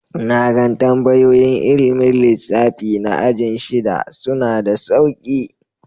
Na gan tambayoyin ilmin lissafi na ajin shida. Suna da sauƙi.